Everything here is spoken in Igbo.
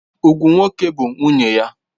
Ugwu nwoke bụ nwunye ya.